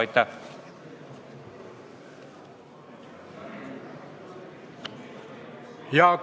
Aitäh!